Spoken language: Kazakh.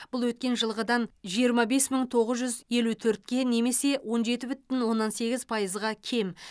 бұл өткен жылғыдан жиырма бес мың тоғыз жүз елу төртке немесе он жеті бүтін оннан сегіз пайызға кем